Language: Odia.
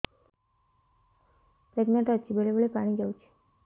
ପ୍ରେଗନାଂଟ ଅଛି ବେଳେ ବେଳେ ପାଣି ଯାଉଛି